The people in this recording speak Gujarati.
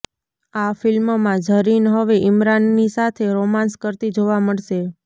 આ ફિલ્મમાં ઝરીન હવે ઇમરાનની સાથે રોમાન્સ કરતી જોવા મળશે